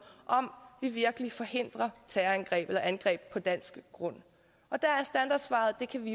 om vi virkelig forhindrer angreb på dansk grund og der er standardsvaret det kan